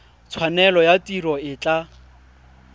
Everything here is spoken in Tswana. tshwanelo ya tiro e tla